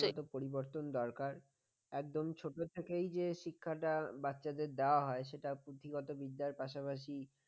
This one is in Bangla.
পরিবর্তন দরকার একদম ছোট থেকেই যে শিক্ষাটা বাচ্চাদের দেওয়া হয় সেটা পুঁথিগত বিদ্যার পাশাপাশি